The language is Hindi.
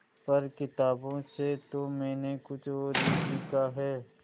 पर किताबों से तो मैंने कुछ और ही सीखा है